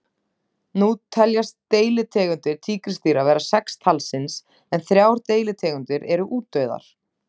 Nú teljast deilitegundir tígrisdýra vera sex talsins en þrjár deilitegundir eru útdauðar.